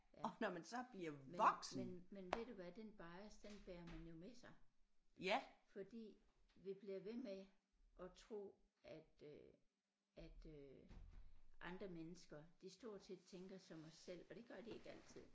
Ja men men men ved du hvad den bias den bærer man jo med sig fordi vi bliver ved med at tro at øh at øh andre mennesker de stort set tænker som os selv og det gør de ikke altid